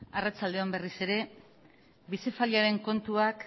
arratsalde on berriz ere kontuak